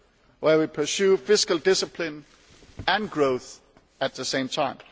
where we pursue fiscal discipline and growth at the same time.